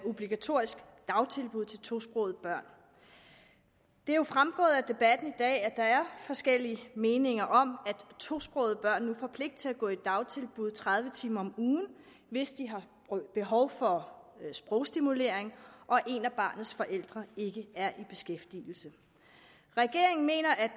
obligatorisk dagtilbud til tosprogede børn det er jo fremgået af debatten i dag at der er forskellige meninger om at tosprogede børn nu får pligt til at gå i dagtilbud tredive timer om ugen hvis de har behov for sprogstimulering og en af barnets forældre ikke er i beskæftigelse regeringen mener at